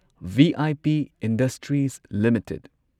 V I P industries limited